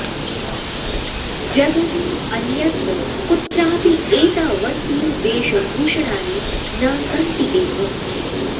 जगति अन्यत्र कुत्रापि एतावन्ति वेषभूषणानि न सन्ति एव